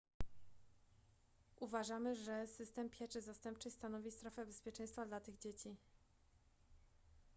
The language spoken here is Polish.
uważamy że system pieczy zastępczej stanowi strefę bezpieczeństwa dla tych dzieci